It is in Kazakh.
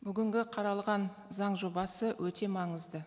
бүгінгі қаралған заң жобасы өте маңызды